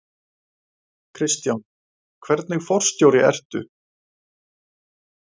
Kristján: Hvernig forstjóri ertu?